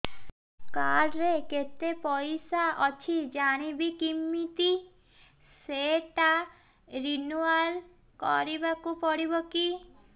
card ରେ କେତେ ପଇସା ଅଛି ଜାଣିବି କିମିତି ସେଟା ରିନୁଆଲ କରିବାକୁ ପଡ଼ିବ କି